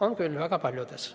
On küll, väga paljudes.